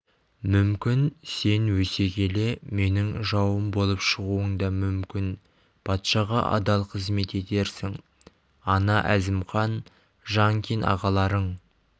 мүмкін сен өсе келе менің жауым болып шығуың да мүмкін патшаға адал қызмет етерсің ана әзімхан жаңкин ағаларың